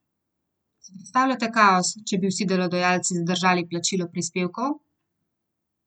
Si predstavljate kaos, če bi vsi delodajalci zadržali plačilo prispevkov?